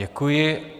Děkuji.